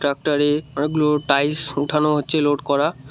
ট্রাক্টরে অনেকগুলো টাইলস উঠানো হচ্ছে লোড করা।